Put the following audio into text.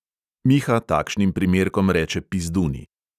Miha takšnim primerkom reče pizduni.